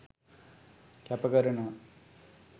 කැප කරනවා